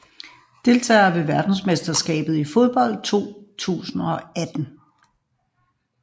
Deltagere ved verdensmesterskabet i fodbold 2018